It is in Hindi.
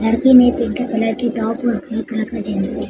लड़की ने पिंक कलर की टॉप और ब्लू कलर का जींस --